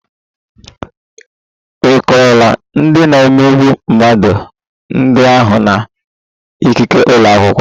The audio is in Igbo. Ị kọọrọ ndị na-emegbu mmadụ ndị ahụ na ikike ụlọ akwụkwọ?